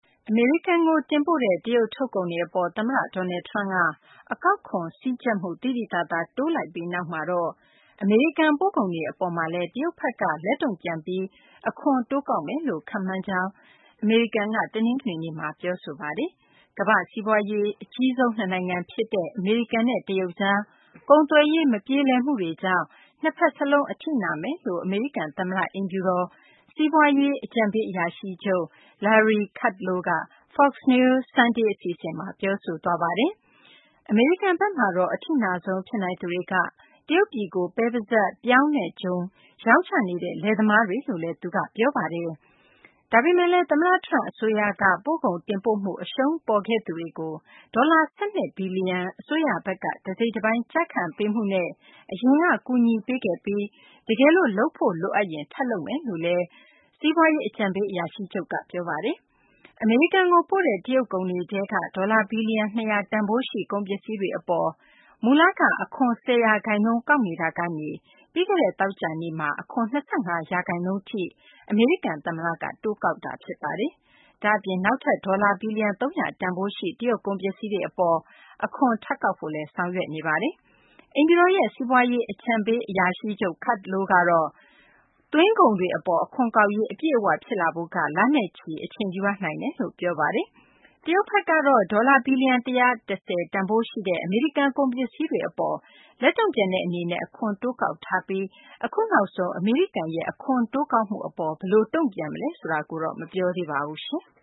အမေရိကန်ကို တင်ပို့တဲ့ တရုတ် ထုတ်ကုန်တွေ အပေါ် သမ္မတ Donald Trump က အကောက်ခွန် စည်းကြပ်မှု သိသိသာသာ တိုးလိုက်ပြီးနောက်မှာတော့ အမေရိကန် ပို့ကုန်တွေ အပေါ်မှာလည်း တရုတ်ဘက်က လက်တုံ့ပြန်ပြီး အခွန်တိုးကောက်မယ်လို့ ခန့်မှန်းကြောင်း အမေရိကန်ဘက်က တနင်္ဂနွေနေ့မှာ ပြောဆိုထားပါတယ်။ ကမ္ဘာ့ စီးပွားရေး အကြီးဆုံး နှစ်နိုင်ငံ ဖြစ်တဲ့ အမေရိကန်နဲ့ တရုတ်ကြား ကုန်သွယ်ရေး မပြေလည်မှုတွေကြောင့် နှစ်ဘက်စလုံး အထိနာမယ်လို့ အမေရိကန် သမ္မတအိမ်ဖြူတော် စီးပွားရေး အကြံပေးအရာရှိချုပ် Larry Kudlow က Fox News Sunday အစီအစဉ်မှာ ပြောဆိုသွားပါတယ်။ အမေရိကန်ဘက်မှာတော့ အထိနာဆုံး ဖြစ်နိုင်သူတွေက တရုတ်ပြည်ကို ပဲပိစပ်၊ ပြောင်းနဲ့ ဂျုံ ရောင်းချနေတဲ့ လယ်သမားတွေလို့လည်း သူက ပြောပါတယ်။ ဒါပေမယ့်လည်း သမ္မတ Trump အစိုးရက ပို့ကုန်တင်ပို့မှု အရှုံးပေါ်ခဲ့သူတွေကို ဒေါ်လာ ၁၂ ဘီလီယံ အစိုးရဘက်က တစိတ်တပိုင်း ကျခံပေးမှုနဲ့ အရင်က ကူညီပေးခဲ့ပြီး တကယ်လို့ လုပ်ဖို့ လိုအပ်ရင် ထပ်လုပ်မှာ ဖြစ်တယ်လို့လည်း စီးပွားရေး အကြံပေး အရာရှိချုပ်က ပြောဆိုပါတယ်။ အမေရိကန်ကို ပို့တဲ့ တရုတ် ကုန်တွေထဲက ဒေါ်လာ ဘီလီယံ ၂၀၀ တန်ဖိုးရှိ ကုန်ပစ္စည်းတွေ အပေါ် မူလက အခွန် ၁၀ ရာခိုင်နှုန်း ကောက်နေတာကနေ ပြီးခဲ့တဲ့ သောကြာနေ့မှာ အခွန် ၂၅ ရာခိုင်နှုန်း အထိ အမေရိကန် သမ္မတက တိုးလိုက်တာ ဖြစ်ပါတယ်။ ဒါ့အပြင် နောက်ထပ် ဒေါ်လာ ဘီလီယံ ၃၀၀ တန်ဖိုးရှိ တရုတ် ကုန်ပစ္စည်းတွေ အပေါ် အခွန်ကောက်ဖို့လည်း ဆောင်ရွက်နေတာပါ။ အိမ်ဖြူတော်ရဲ့ စီးပွားရေး အကြံပေး အရာရှိချုပ် Kudlow ကတော့ သွင်းကုန်တွေ အပေါ် အခွန်ကောက်ရေး အပြည့်အ၀ ဖြစ်ဖို့က လနဲ့ချီ အချိန်ယူရနိုင်တယ်လို့ ပြောပါတယ်။ တရုတ်ဘက်ကတော့ ဒေါ်လာ ဘီလီယံ ၁၁၀ တန်ဖိုးရှိ အမေရိကန် ကုန်ပစ္စည်းတွေ အပေါ် လက်တုံ့ပြန်တဲ့ အနေနဲ့ အခွန်တိုးကောက်ခဲ့ပြီး အခုနောက်ဆုံး အမေရိကန်ရဲ့ အခွန်တိုးကောက်မှု အပေါ်မှာတော့ ဘယ်လို တုံ့ပြန်မလဲ ဆိုတာ မပြောသေးပါဘူး။